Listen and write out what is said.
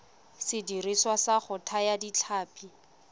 sediriswa sa go thaya ditlhapi